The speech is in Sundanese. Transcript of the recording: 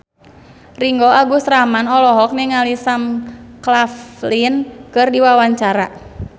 Ringgo Agus Rahman olohok ningali Sam Claflin keur diwawancara